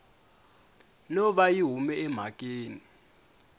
no va yi hume emhakeni